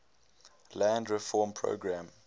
land reform program